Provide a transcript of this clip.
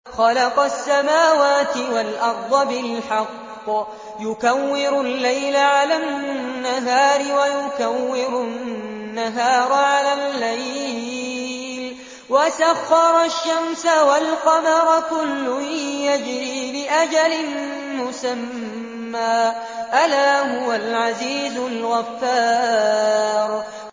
خَلَقَ السَّمَاوَاتِ وَالْأَرْضَ بِالْحَقِّ ۖ يُكَوِّرُ اللَّيْلَ عَلَى النَّهَارِ وَيُكَوِّرُ النَّهَارَ عَلَى اللَّيْلِ ۖ وَسَخَّرَ الشَّمْسَ وَالْقَمَرَ ۖ كُلٌّ يَجْرِي لِأَجَلٍ مُّسَمًّى ۗ أَلَا هُوَ الْعَزِيزُ الْغَفَّارُ